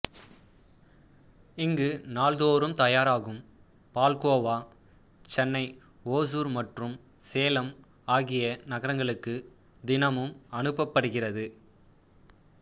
இங்கு நாள்தோறும் தயாராகும் பால்கோவா சென்னை ஓசூர் மற்றும் சேலம் ஆகிய நகரங்களுக்கு தினமும் அனுப்பப்படுகிறது